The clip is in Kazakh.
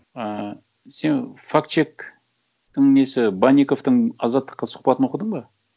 ыыы сен факт чектің несі банниковтың азаттыққа сұхбатын оқыдың ба